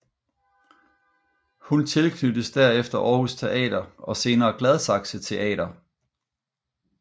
Hun tilknyttes derefter Aarhus Teater og senere Gladsaxe Teater